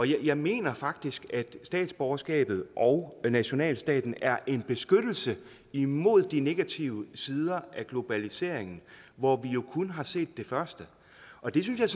jeg mener faktisk at statsborgerskabet og nationalstaten er en beskyttelse imod de negative sider af globaliseringen hvor vi jo kun har set det første og det synes jeg